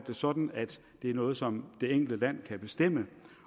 det sådan at det er noget som det enkle land kan bestemme